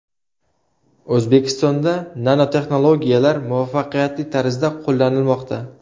O‘zbekistonda nanotexnologiyalar muvaffaqiyatli tarzda qo‘llanilmoqda.